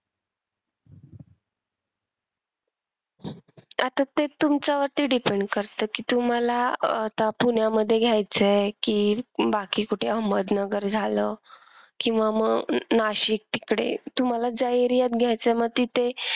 आता ते तुमच्यावरती depend करते कि तुम्हाला अह आता पुण्यामध्ये घ्यायचंय कि बाकी कुठे अहमदनगर, झालं किंवा मग नाशिक अं इकडे तुम्हाला ज्या area त घ्यायचंय मग तिथे,